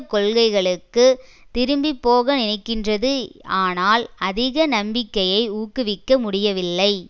கொள்கைகளுக்கு திரும்பிபோக நினைக்கின்றது ஆனால் அதிக நம்பிக்கையை ஊக்குவிக்க முடியவில்லை